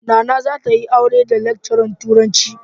Nana za ta yi aure da lecturer turanci.